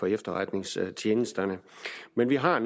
efterretningstjenesterne har